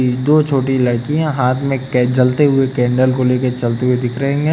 दो छोटी लड़कियां हाथ में कै जलते हुए कैंडल को लेके चलती हुई दिख रही हैं।